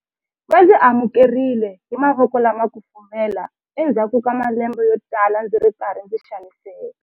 Va ndzi amukerile hi mavoko lama kufumelaka endzhaku ka malembe yotala ndzi ri karhi ndzi xaniseka.